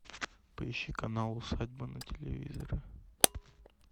поищи канал усадьба на телевизоре